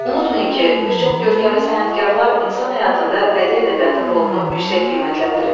Unutmayın ki, bir çox görkəmli sənətkarılar insan həyatında bədii ədəbiyyatın rolunu yüksək qiymətləndirib.